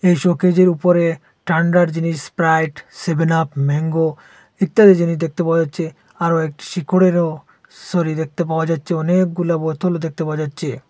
এই শোকেজের উপরে ঠাণ্ডার জিনিস স্প্রাইট সেভেন আপ ম্যাঙ্গো ইত্যাদি জিনিস দেখতে পাওয়া যাচ্ছে আরও একটি শিখরেরও সারি দেখতে পাওয়া যাচ্ছে অনেকগুলা বোতলও দেখতে পাওয়া যাচ্ছে।